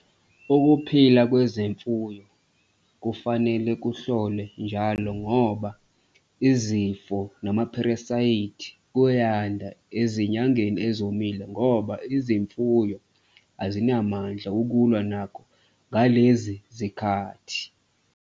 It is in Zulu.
Ukuphila kwezimfuyo kufanele kuhlolwe njalo ngoba izifo namapheresayiti kuyanda ezinyangeni ezomile ngoba izimfuyo azinamandla ukulwa nacho ngalezi zikhathi.